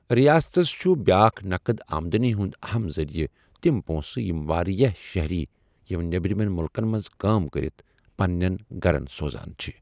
ُریاستس چھُ بیاکھ نقد آمدٲنی ہُند اہم ذریعہٕ تِم پوٚنٛسہٕ یِم واریاہ شہری یِم نیبرِمٮ۪ن مُلکَن منٛز کٲم کٔرِتھ پننین گرن سوزان چھ۔